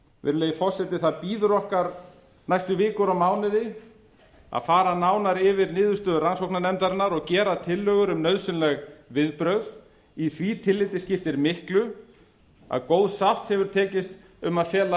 virðulegi forseti það bíður okkar næstu vikur og mánuði að far nánar yfir niðurstöður rannsóknarnefndarinnar og gera tillögur um nauðsynleg viðbrögð í því tilliti skiptir miklu að góð sátt hefur tekist um að fela